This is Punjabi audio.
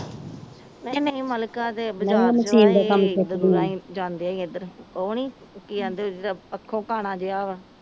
ਨਹੀਂ ਨਹੀਂ ਮਲਕਾ ਦੇ ਜਾਂਦੀਆਂ ਈ ਏਧਰ ਉਹ ਨੀ ਕਿ ਆਂਦੇ ਉਹ ਜੇਹੜਾ ਆਖੋ ਕਾਣਾ ਜੇਹਾ ਵਾ